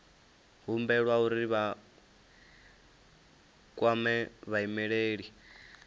humbelwa uri vha kwame vhaimeleli